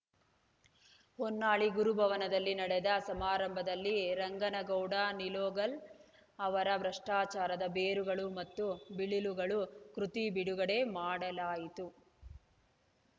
ಹೊನ್ನಾಳಿ ಗುರುಭವನದಲ್ಲಿ ನಡೆದ ಸಮಾರಂಭದಲ್ಲಿ ರಂಗನಗೌಡ ನಿಲೋಗಲ್‌ ಅವರ ಭ್ರಷ್ಟಾಚಾರದ ಬೇರುಗಳು ಮತ್ತು ಬಿಳಿಲುಗಳು ಕೃತಿ ಬಿಡುಗಡೆ ಮಾಡಲಾಯಿತು